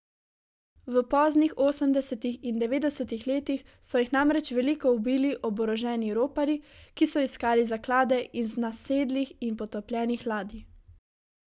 V poznih osemdesetih in devetdesetih letih so jih namreč veliko ubili oboroženi roparji, ki so iskali zaklade iz nasedlih in potopljenih ladij.